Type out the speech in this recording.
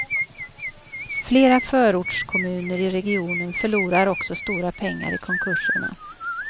Flera förortskommuner i regionen förlorar också stora pengar i konkurserna.